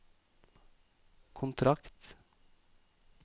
kontrakt